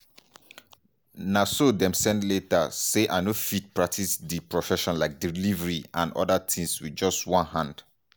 na so dem send letter say i no fit practice di profession like delivery and oda tins wit just one hand.